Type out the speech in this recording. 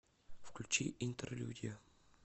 включи интерлюдия